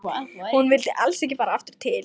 Hún vildi alls ekki fara aftur til